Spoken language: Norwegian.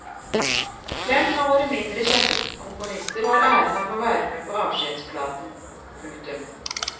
Fem av våre mindre kjente komponister har æren av å være med på avskjedsplaten. punktum